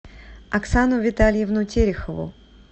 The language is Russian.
оксану витальевну терехову